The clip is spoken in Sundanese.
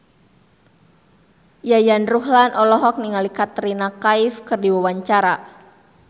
Yayan Ruhlan olohok ningali Katrina Kaif keur diwawancara